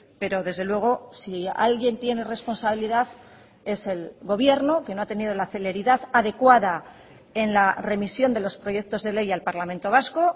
pero desde luego si alguien tiene responsabilidad es el gobierno que no ha tenido la celeridad adecuada en la remisión de los proyectos de ley al parlamento vasco